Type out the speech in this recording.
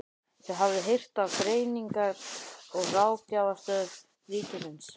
Þið hafið heyrt af Greiningar- og ráðgjafarstöð ríkisins?